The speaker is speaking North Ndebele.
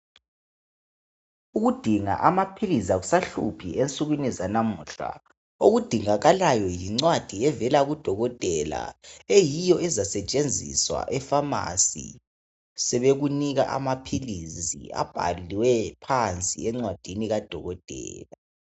Ukudinga amaphilizi akusahluphi ensukwini zanamuhla, okudingakalayo yincwadi evela kudokotela eyiyo ezasetshenziswa efamasi sebekunika amaphilizi abhaliweyo phansi encwadini kadokotela.